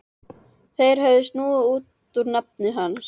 Þeir höfðu snúið út úr nafni hans.